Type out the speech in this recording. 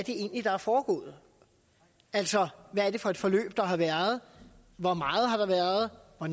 der er foregået altså hvad det er for et forløb der har været hvor meget der har været og